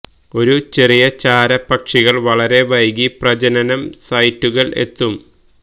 ഈ ചെറിയ ചാര പക്ഷികൾ വളരെ വൈകി പ്രജനനം സൈറ്റുകൾ എത്തും